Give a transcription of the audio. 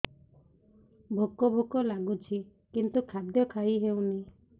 ଭୋକ ଭୋକ ଲାଗୁଛି କିନ୍ତୁ ଖାଦ୍ୟ ଖାଇ ହେଉନି